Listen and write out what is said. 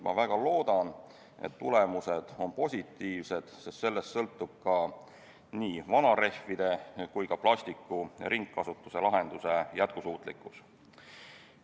Ma väga loodan, et tulemused on positiivsed, sest sellest sõltub nii vanarehvide kui ka plastiku ringkasutuse lahenduse jätkusuutlikkus.